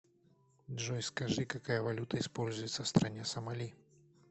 джой скажи какая валюта используется в стране сомали